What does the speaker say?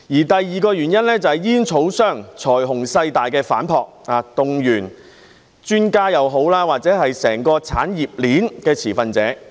第二個原因，就是煙草商財雄勢大的反撲，不論專家或整個產業鏈的持份者均被動員。